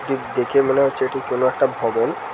ঠিক দেখে মনে হচ্ছে এটি কোনো একটা ভবন।